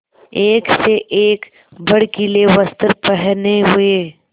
एक से एक भड़कीले वस्त्र पहने हुए